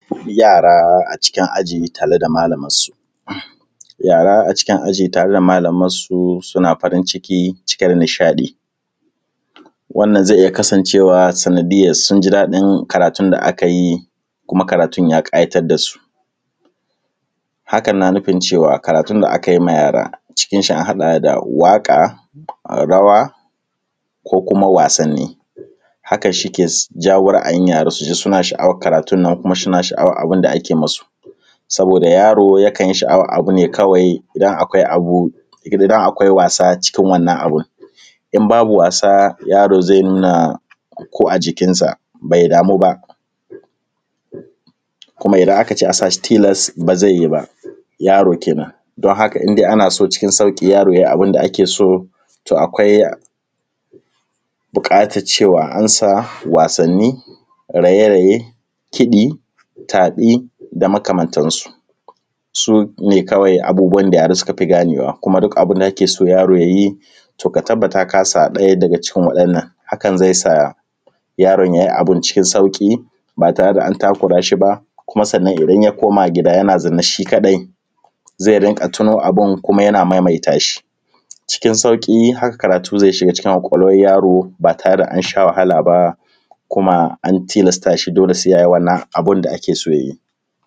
Yara a cikin aji tare da malamar su. Yara a cikin aji tare da malamar su suna farin ciki cike da nishaɗi. Wannan zai iya kasancewa sanadiyan sun ji daɗi karatu da aka yi, kuma karatun ya ƙayatar da su. haka na nufin cewa karatun da aka yi wa yara cikin shi a haɗa da waƙa, rawa, ko kuma wasanni. Haka shi ke jawo ra'ayin yara su ji suna sha'awan karatu nan kuma suna sha'awan abin da ake masu. Saboda yaro yakan sha'awan abu ne kawai idan akwai wasa cikin wannan abu, in babu wasa yaro zai nuna ko ajikinsa bai damu ba, kuma idan aka ce a sa shi tilas ba zai yi ba, yaro kenan. Don haka in dai ana so cikin sauƙi yaro yayi abin da ake so, to akwai buƙatan cewa an sa wasanin, raye raye, kiɗi, tafi da makamantansu. Sune kawai abubuwan da yara suka fi gane wa kuma duk abin da kake so yaro yayi to ka tabbata kasa ɗaya daga cikin wa'innan, hakan zai sa yaro yayi abin cikin sauƙi ba tare da an takura shi ba, kuma sannan idan ya koma gida yana zanne shi kaɗai zai rinƙa tuno abu kuma yana maimaita shi, cikin sauƙi haka karatu zai shiga ƙwaƙwalwan yaro ba tare da an sha wahala ba, kuma an tilasta shi dole sai yayi wannan abun da ake so ya yi.